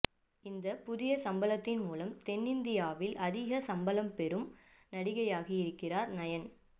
இந்தப் புதிய சம்பளத்தின் மூலம் தென்னிந்தியாவில் அதிக சம்பளம் பெறும் நடிகையாகி இருக்கிறார் நயன்